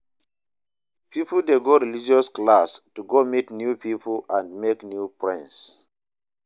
Pipo de go religious class to go meet new pipo and make new friends